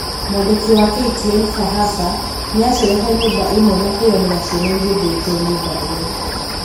Mwandĩki wa KTN Fahasa nĩ acerete nyũmba ĩmwe na kwiyonera ciana igĩthĩnjwo nyũmba ĩyo.